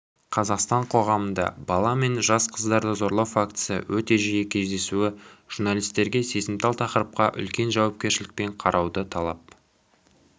қазақстан қоғамында бала мен жас қыздарды зорлау фактісі өте жиі кездесуі журналистерге сезімтал тақырыпқа үлкен жауапкершілікпен қарауды талап